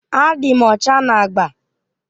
Adị m ọcha na agba.